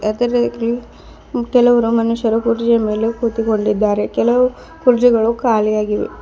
ಕೆಲವರು ಮನುಷ್ಯರು ಕುರ್ಜಿಯ ಮೇಲೆ ಕುಳಿತುಕೊಂಡಿದ್ದರೆ ಕೆಲವು ಕುರ್ಜಿಗಳು ಖಾಲಿಯಾಗಿವೆ.